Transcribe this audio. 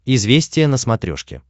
известия на смотрешке